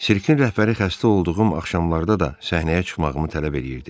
Sirkin rəhbəri xəstə olduğum axşamlarda da səhnəyə çıxmağımı tələb eləyirdi.